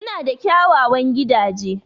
Suna da kyawawan gidaje.